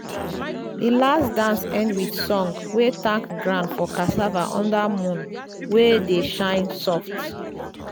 the last dance end with song wey thank ground for cassava under moon wey dey shine soft.